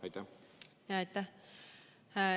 Aitäh!